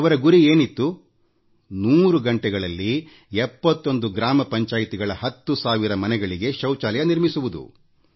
ಅವರ ಗುರಿ ಏನಿತ್ತು ನೂರು ಗಂಟೆಗಳಲ್ಲಿ 71 ಗ್ರಾಮ ಪಂಚಾಯತಿಗಳ ವ್ಯಾಪ್ತಿಯ ಹತ್ತು ಸಾವಿರ ಮನೆಗಳಲ್ಲಿ ಶೌಚಾಲಯ ನಿರ್ಮಿಸುವುದಾಗಿತ್ತು